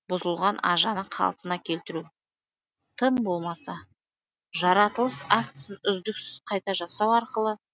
бұзылған ажаны қалпына келтіру тым болмаса жаратылыс актісін үздіксіз қайта жасау арқылы